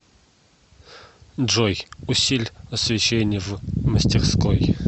джой усиль освещение в мастерской